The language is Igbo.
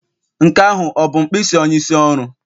Nke ahụ ọ bụ mkpịsị onyeisi oru?